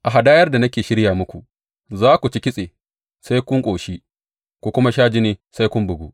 A hadayar da nake shirya muku, za ku ci kitse sai kun ƙoshi ku kuma sha jini sai kun bugu.